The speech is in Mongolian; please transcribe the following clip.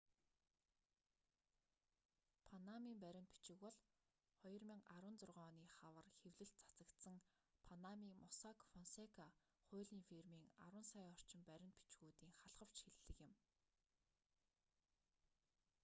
панамын баримт бичиг бол 2016 оны хавар хэвлэлд цацагдсан панамын моссак фонсека хуулийн фирмийн арван сая орчим баримт бичгүүдийн халхавч хэллэг юм